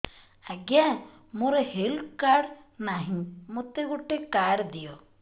ଆଜ୍ଞା ମୋର health card ନାହିଁ ମୋତେ ଗୋଟେ କାର୍ଡ ଦିଅ